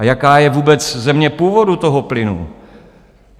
A jaká je vůbec země původu toho plynu?